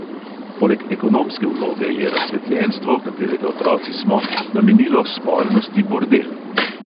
Poleg ekonomske vloge je razsvetljenstvo, katerega otroci smo, namenilo spolnosti bordel.